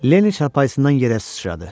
Lenni çarpayısından yerə sıçradı.